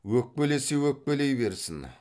өкпелесе өкпелей берсін